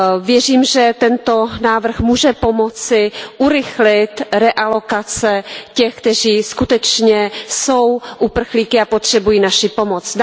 Věřím, že tento návrh může pomoci urychlit realokace těch, kteří skutečně jsou uprchlíky a potřebují naši pomoc.